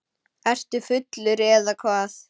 Ertu fullur eða hvað?